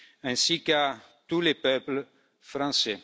ainsi qu'à tout le peuple français.